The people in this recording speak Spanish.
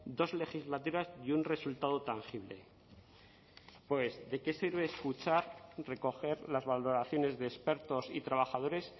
dos legislaturas y un resultado tangible pues de qué sirve escuchar recoger las valoraciones de expertos y trabajadores